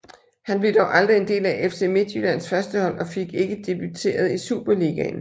Han blev dog aldrig en del af FC Midtjyllands førstehold og fik ikke debuteret i Superligaen